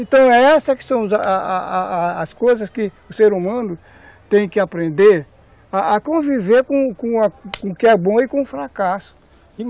Então essas que são as a a a coisas que o ser humano tem que aprender a conviver com com o que é bom e com o fracasso.